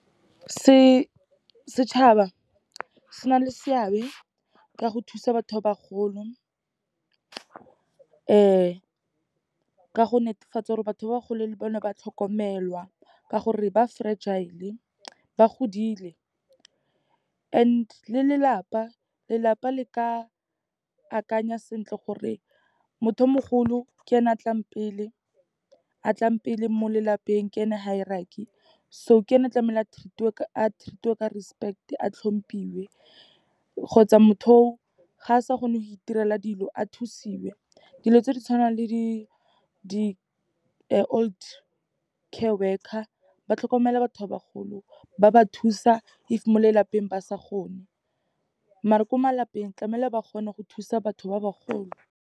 Setšhaba se na le seabe ka go thusa batho ba bagolo, ka go netefatsa gore batho ba bagole le bone ba tlhokomelwa, ka gore ba fragile, ba godile and le lelapa, lelapa le ka akanya sentle gore motho o mogolo ke ene a tlang pele mo lelapeng, ke e ne hierarchy. So, ke ene tlamehile a treat-iwe ka respect, a hlomphiwe, kgotsa motho o, ga a sa kgone go itirela dilo, a thusiwe. Dilo tse di tshwanang le di-old care worker, ba tlhokomela batho ba bagolo ba ba thusa if mo lelapeng ba sa kgone, maar-e ko malapeng, tlamehile ba kgone go thusa batho ba bagolo.